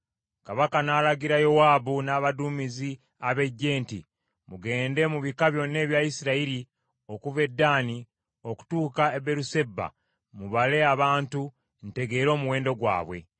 Kabaka n’alagira Yowaabu n’abaduumizi ab’eggye nti, “Mugende mu bika byonna ebya Isirayiri okuva e Ddaani okutuuka e Beeruseba mubale abantu, ntegeere omuwendo gwabwe.”